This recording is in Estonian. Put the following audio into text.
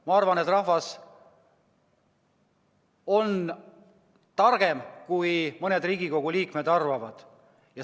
Ma arvan, et rahvas on targem, kui mõned Riigikogu liikmed arvavad.